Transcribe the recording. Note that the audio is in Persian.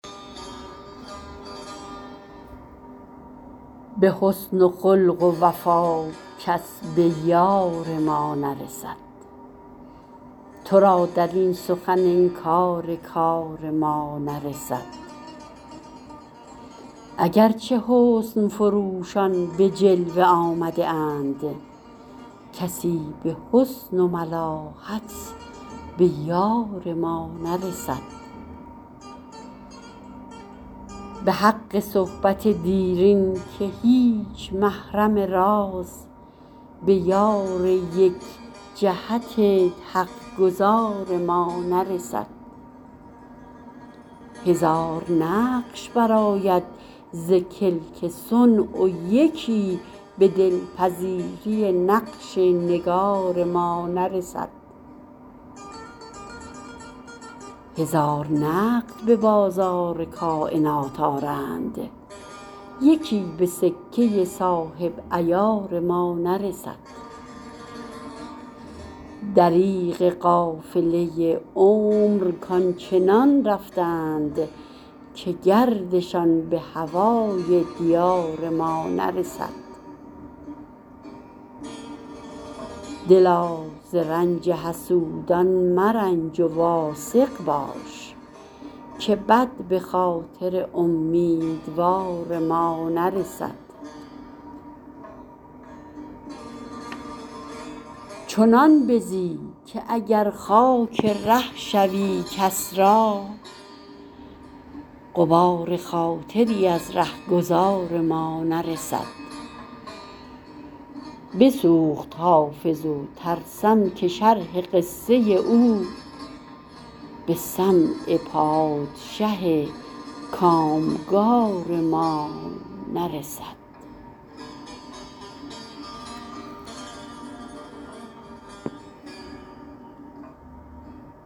به حسن و خلق و وفا کس به یار ما نرسد تو را در این سخن انکار کار ما نرسد اگر چه حسن فروشان به جلوه آمده اند کسی به حسن و ملاحت به یار ما نرسد به حق صحبت دیرین که هیچ محرم راز به یار یک جهت حق گزار ما نرسد هزار نقش برآید ز کلک صنع و یکی به دل پذیری نقش نگار ما نرسد هزار نقد به بازار کاینات آرند یکی به سکه صاحب عیار ما نرسد دریغ قافله عمر کآن چنان رفتند که گردشان به هوای دیار ما نرسد دلا ز رنج حسودان مرنج و واثق باش که بد به خاطر امیدوار ما نرسد چنان بزی که اگر خاک ره شوی کس را غبار خاطری از ره گذار ما نرسد بسوخت حافظ و ترسم که شرح قصه او به سمع پادشه کام گار ما نرسد